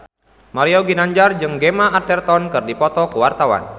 Mario Ginanjar jeung Gemma Arterton keur dipoto ku wartawan